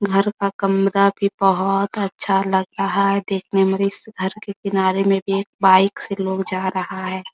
घर का कमरा भी बहुत अच्छा लग रहा है देखने मे इस घर के किनारे मे भी एक बाइक से लोग जा रहा है ।